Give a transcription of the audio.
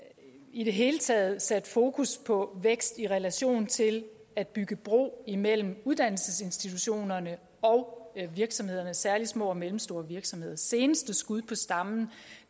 i det hele taget også sat fokus på vækst i relation til at bygge bro imellem uddannelsesinstitutionerne og virksomhederne særlig små og mellemstore virksomheder seneste skud på stammen